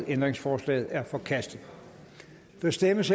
ændringsforslaget er forkastet der stemmes